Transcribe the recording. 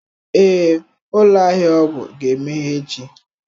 Ee, ụlọ ahịa ọgwụ ga-emeghe echi